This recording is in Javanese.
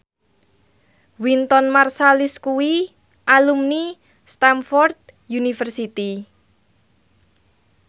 Wynton Marsalis kuwi alumni Stamford University